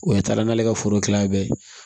O ye taa n'ale ka foro kilan bɛɛ ye